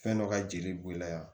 Fɛn dɔ ka jeli b'i la yan